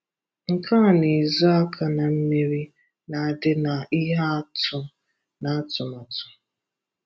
Nke a na-ezo aka na mmerì na-adị na ihe atụ na àtùmàtù.